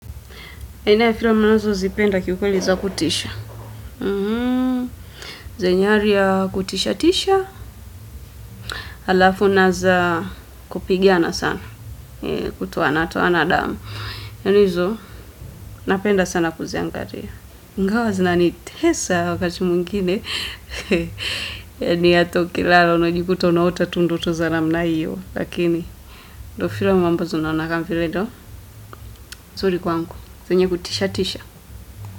Aina ya filamu ninazo zipenda kiukweli za kutisha zenye hali ya kutisha tisha. Halafu naza kupigiana sana. Kutoana toana damu. Nani hizo napenda sana kuziangalia. Ingawa zina nitesa wakati mwingine. Yani ata ukilala unajikuta unaota tu ndoto za namna hiyo. Lakini ndio filamu ambazo kama vile ndio nzuri kwangu. Zenye kutisha tisha.